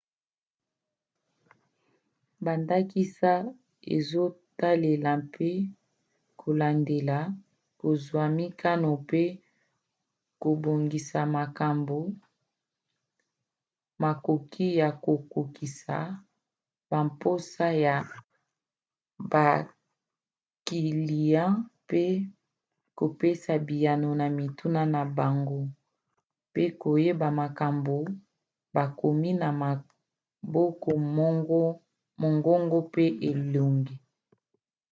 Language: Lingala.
bandakisa ezotalela mpe kolandela kozwa mikano pe kobongisa makambo makoki ya kokokisa bamposa ya bakiliya mpe kopesa biyano na mituna na bango mpe koyeba makambo bakomi na maboko mongongo mpe elongi